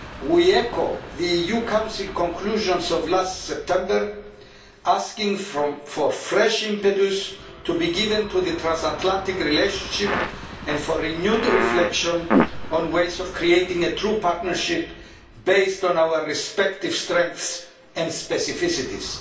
We reiterate the EU Council's conclusions of last September, asking for fresh impetus to be given to the transatlantic relationship and for renewed reflection on ways of creating a true partnership based on our respective strengths and specificities.